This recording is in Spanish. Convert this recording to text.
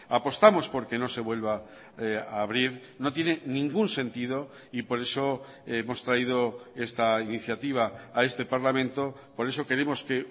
apostamos por que no se vuelva a abrir no tiene ningún sentido y por eso hemos traído esta iniciativa a este parlamento por eso queremos que